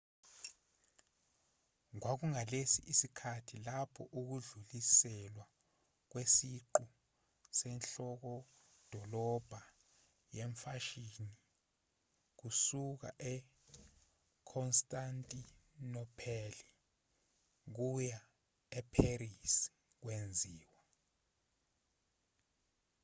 kwakungalesi sikhathi lapho ukudluliselwa kwesiqu senhlokodolobha yemfashini kusuka ekhonstantinopheli kuya epherisi kwenziwa